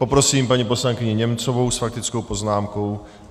Poprosím paní poslankyni Němcovou s faktickou poznámkou.